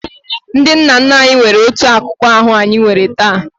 Ndị nna nna anyị nwere otu akụkụ ahụ anyị nwere taa.